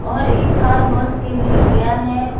और एक car wash के लिए गया है।